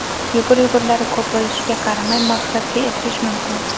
Yugur-yugurlari ko‘p bo‘lishiga qaramay, maqsadga erishish mumkin.